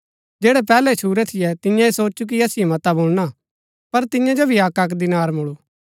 जैड़ै पैहलै छुरै थियै तिन्यै ऐह सोचु कि असिओ मता मुळना पर तियां जो भी अक्कअक्क दीनार मूळु